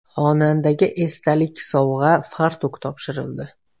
Xonandaga esdalik sovg‘a fartuk topshirildi.